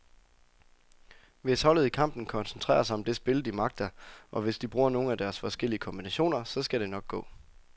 Hvis holdet i kampen koncentrerer sig om det spil, de magter, og hvis de bruger nogle af deres forskellige kombinationer, så skal det nok gå.